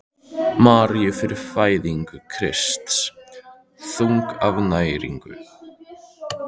Maríu fyrir fæðingu Krists: þunguð af næringu.